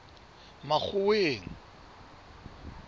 makgoweng